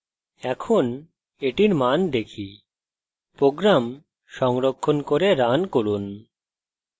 এখন এটির মান দেখি program সংরক্ষণ করে রান করুন